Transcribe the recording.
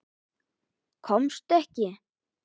Komst ekki.